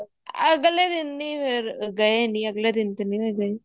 ਅਗਲੇ ਦਿਨ ਨੀ ਫ਼ੇਰ ਗਏ ਨੀ ਅਗਲੇ ਦਿਨ ਤਾਂ ਨੀ ਮੈਂ ਗਈ